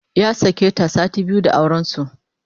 Ya sake ta sati biyu da auren su